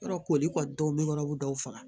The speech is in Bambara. Yɔrɔ koli kɔni dɔw bɛ yɔrɔ dɔw faga